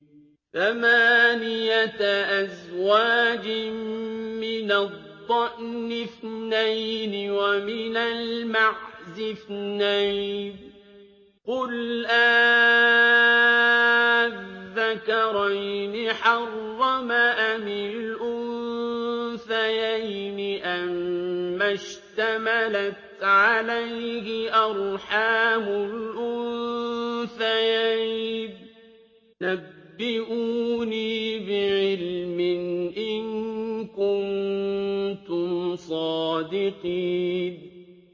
ثَمَانِيَةَ أَزْوَاجٍ ۖ مِّنَ الضَّأْنِ اثْنَيْنِ وَمِنَ الْمَعْزِ اثْنَيْنِ ۗ قُلْ آلذَّكَرَيْنِ حَرَّمَ أَمِ الْأُنثَيَيْنِ أَمَّا اشْتَمَلَتْ عَلَيْهِ أَرْحَامُ الْأُنثَيَيْنِ ۖ نَبِّئُونِي بِعِلْمٍ إِن كُنتُمْ صَادِقِينَ